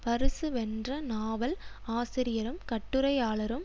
பரிசு வென்ற நாவல் ஆசிரியரும் கட்டுரையாளரும்